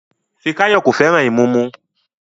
Fikayomi kò fẹ́ràn ìmumu